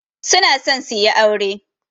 Su na so su yi aure.